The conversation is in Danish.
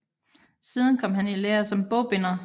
Siden kom han i lære som bogbinder